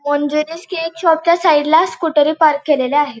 Monginis cake shop च्या side ला स्कुटरी पार्क केलेल्या आहेत.